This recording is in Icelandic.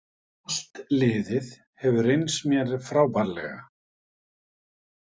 Allt liðið hefur reynst mér frábærlega